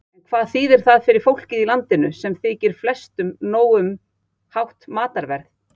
En hvað þýðir það fyrir fólkið í landinu, sem þykir flestu nóg um hátt matarverð?